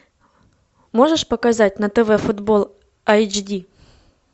можешь показать на тв футбол эйч ди